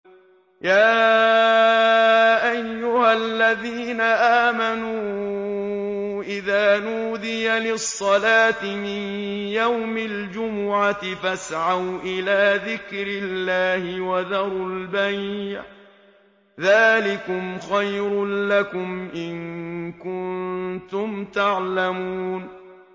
يَا أَيُّهَا الَّذِينَ آمَنُوا إِذَا نُودِيَ لِلصَّلَاةِ مِن يَوْمِ الْجُمُعَةِ فَاسْعَوْا إِلَىٰ ذِكْرِ اللَّهِ وَذَرُوا الْبَيْعَ ۚ ذَٰلِكُمْ خَيْرٌ لَّكُمْ إِن كُنتُمْ تَعْلَمُونَ